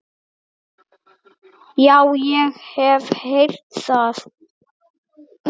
Já, ég hef heyrt það.